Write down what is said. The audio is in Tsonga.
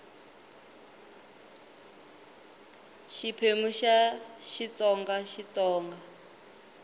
xiphemu xa ii xitsonga xitsonga